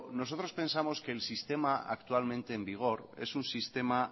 nosotros pensamos que el sistema actualmente en vigor es un sistema